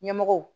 Ɲɛmɔgɔw